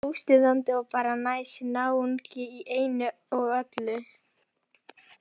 Mjög óstuðandi og bara næs náungi í einu og öllu.